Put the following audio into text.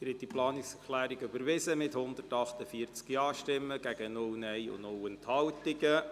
Sie haben diese Planungserklärung überwiesen mit 148 Ja- gegen 0 Nein-Stimmen und 0 Enthaltungen.